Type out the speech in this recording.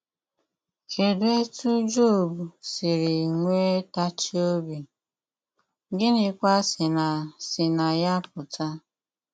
Kedụ etú Job siri nwe tachie obi, gịnịkwa si na si na ya pụta?